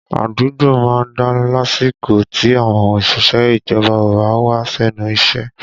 Àdúgbò má ń dá lásìkò tí àwọn òṣìṣẹ́ ìjọba ò bá wá sẹ́nu iṣẹ́